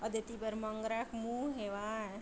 अउ देती बर मंगरा के मुँह हेवय।